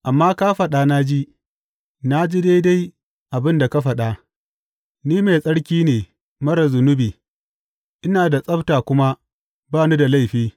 Amma ka faɗa na ji, na ji daidai abin da ka faɗa, ni mai tsarki ne marar zunubi; ina da tsabta kuma ba ni da laifi.